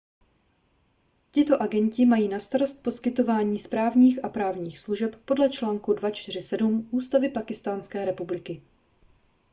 tito agenti mají na starost poskytování správních a právních služeb podle článku 247 ústavy pákistánské republiky